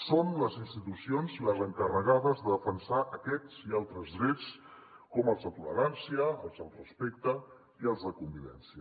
són les institucions les encarregades de defensar aquests i altres drets com els de tolerància els del respecte i els de convivència